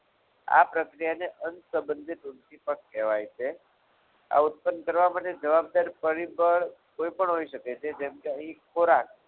આ પ્રક્રિયાને અનસબંધિત ઉદ્દીપક કહેવાય છે. આ પ્રક્રિયાને ઉત્પન્ન કરવા માટે જવાબદાર ગણાય છે જવાબદાર પરિબળ કોઈ પણ હોઈ શકે છે જેમ કે અહીં ખોરાક